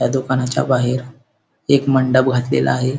या दुकानाच्या बाहेर एक मंडप घातलेला आहे.